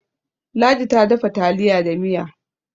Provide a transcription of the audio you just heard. ladi ta dafa taliya da Miya